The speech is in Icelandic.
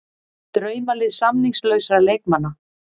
Draumalið samningslausra leikmanna